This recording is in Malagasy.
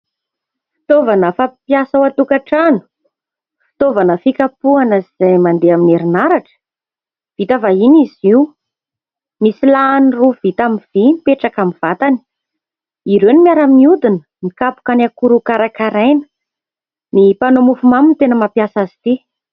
Fitaovana fampiasa ao an-tokantrano. Fitaovana fikapohana izay mandeha amin'ny herinaratra, vita vahiny izy io. Misy lahany roa vita amin'ny vy mipetraka amin'ny vatany, ireo no miara-miodina mikapoka ny akora ho karakaraina. Ny mpanao mofomamy no tena mampiasa azy ity.